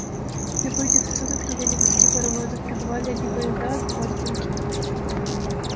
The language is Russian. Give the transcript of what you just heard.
в любые часы суток ревели гудки паровозов прибывали одни поезда отбывали другие